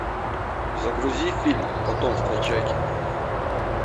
загрузи фильм потомство чаки